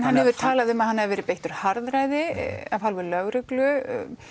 hann hefur talað um að hann hafi verið beittur harðræði að hálfu lögreglu